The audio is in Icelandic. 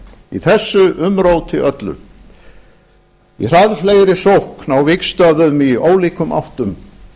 í þessu umróti öllu í hraðfleygri sókn á vígstöðvum í ólíkum áttum